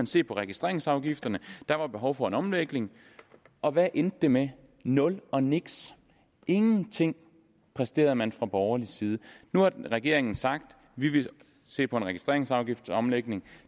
se på registreringsafgifterne der var behov for en omlægning og hvad endte det med nul og niks ingenting præsterede man fra borgerlig side nu har regeringen sagt vi vil se på en registreringsafgiftsomlægning